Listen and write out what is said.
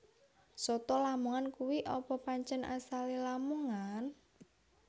Soto lamongan kui apa pancen asale Lamongan?